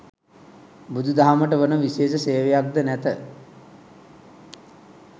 බුදුදහමට වන විශේෂ සේවයක්ද නැත.